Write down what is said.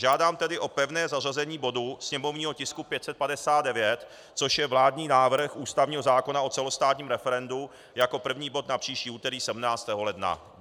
Žádám tedy o pevné zařazení bodu, sněmovního tisku 559, což je vládní návrh ústavního zákona o celostátním referendu, jako první bod na příští úterý 17. ledna.